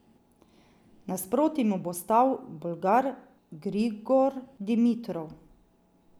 Nasproti mu bo stal Bolgar Grigor Dimitrov.